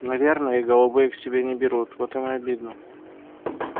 наверное их голубые к себе не берут вот им и обидно